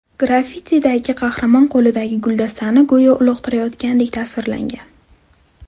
Graffitidagi qahramon qo‘lidagi guldastani go‘yo uloqtirayotgandek tasvirlangan.